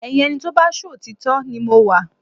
Ẹyin ẹni tó bá ṣòtítọ́ ni mo wà